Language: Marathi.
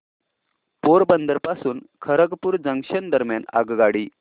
पोरबंदर पासून खरगपूर जंक्शन दरम्यान आगगाडी